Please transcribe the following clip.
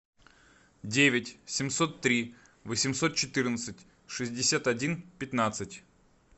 девять семьсот три восемьсот четырнадцать шестьдесят один пятнадцать